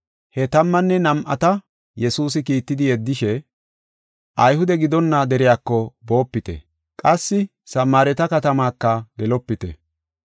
He tammanne nam7ata Yesuusi kiittidi yeddishe, “Ayhude gidonna deriyako boopite, qassi Samaareta katamaka gelopite.